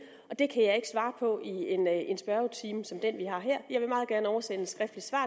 og det kan jeg ikke svare på i en spørgetime som den vi har her jeg vil meget gerne oversende et skriftligt svar